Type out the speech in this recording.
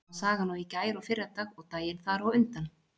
Sama sagan og í gær og fyrradag og daginn þar á undan.